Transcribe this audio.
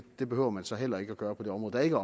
det behøver man så heller ikke gøre på det område der ikke